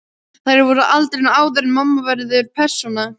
Þær voru á aldrinum áður en mamma verður persóna.